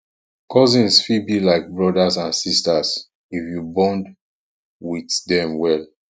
cousins fit be like brothers and sisters if you bond with dem well